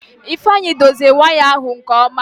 Ifeanyị dozie waya ahụ nke ọma.